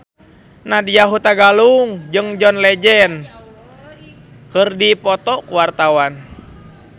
Nadya Hutagalung jeung John Legend keur dipoto ku wartawan